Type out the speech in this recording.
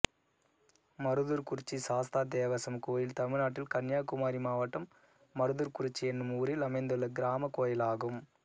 மருதூர்குறிச்சி சாஸ்தா தேவசம் கோயில் தமிழ்நாட்டில் கன்னியாகுமரி மாவட்டம் மருதூர்குறிச்சி என்னும் ஊரில் அமைந்துள்ள கிராமக் கோயிலாகும்